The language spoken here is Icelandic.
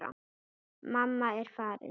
Mamma er farin.